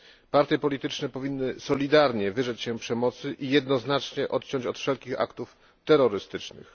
Partie polityczne powinny solidarnie wyrzec się przemocy i jednoznacznie odciąć od wszelkich aktów terrorystycznych.